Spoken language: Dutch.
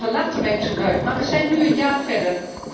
Sommigen lachten mij toen uit, maar we zijn nu een jaar verder.